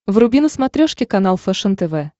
вруби на смотрешке канал фэшен тв